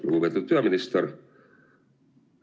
Lugupeetud peaminister!